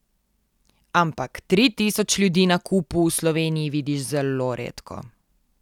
Ampak tri tisoč ljudi na kupu v Sloveniji vidiš zelo redko.